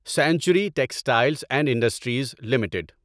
century textiles and industries limited